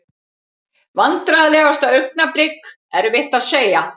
Vandræðalegasta augnablik: Erfitt að segja.